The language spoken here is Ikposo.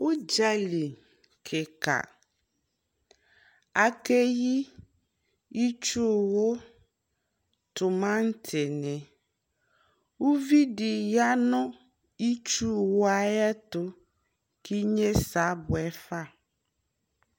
Udzali kika Akeyi itsu wu, tumanti niUvi di ya nu itsu wu yɛ atu Ki nye sɛ abuɛ fa